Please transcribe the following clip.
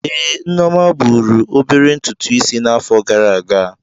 Ee, Nneoma buru obere ntùtù Ịsị n'afo gara aga.